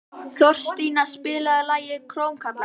Þorstína, spilaðu lagið „Krómkallar“.